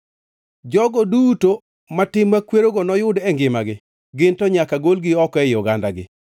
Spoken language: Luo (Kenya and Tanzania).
“ ‘Jogo duto matim makwerogo noyud e ngimagi, ginto nyaka golgi oko ei ogandagi.